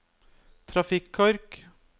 trafikkork